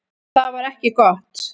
Það var ekki gott.